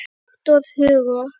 Victor Hugo